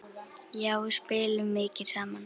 Já, við spilum mikið saman.